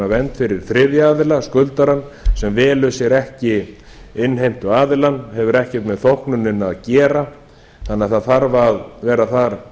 vernd fyrir þriðja aðila skuldarann sem velur sér ekki innheimtuaðilann hefur ekkert með þóknunina að gera þannig að það þarf að vera þar